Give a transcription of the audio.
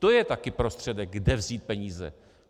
To je taky prostředek, kde vzít peníze.